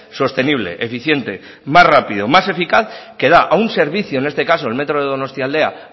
sostenible eficiente más rápido más eficaz que da a un servicio en este caso al metro de donostialdea